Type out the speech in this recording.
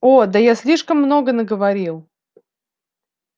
о да я слишком много наговорил